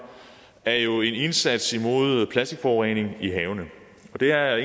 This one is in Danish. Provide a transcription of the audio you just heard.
er jo en indsats imod plastikforurening i havene og det er